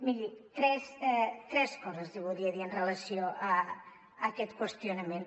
miri tres coses li voldria dir en relació amb aquest qüestionament